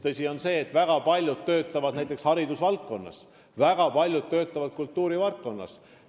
Tõsi on see, et väga paljud neist töötavad näiteks haridusvaldkonnas ja kultuurivaldkonnas.